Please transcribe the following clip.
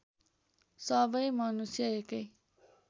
सबै मनुष्य एकै